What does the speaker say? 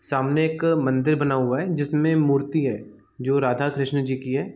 सामने एक मंदिर बना हुआ है जिस में मूर्ति है जो राधा-कृष्णा जी की है।